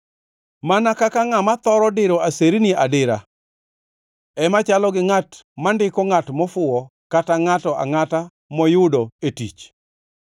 Mana kaka ngʼama thoro diro aserni adira ema chalo gi ngʼat mandiko ngʼat mofuwo kata ngʼato angʼata moyudo e tich.